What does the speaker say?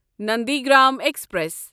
Nandigram express